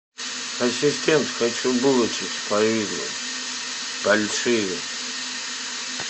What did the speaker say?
ассистент хочу булочек с повидлом большие